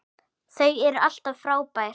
Þau eru alltaf frábær.